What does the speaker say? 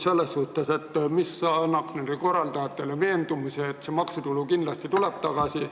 Mul on küsimus, mis annab nende korraldajatele veendumuse, et see maksutulu kindlasti tuleb tagasi.